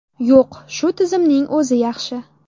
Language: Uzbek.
Yo‘q, shu tizimning o‘zi yaxshi.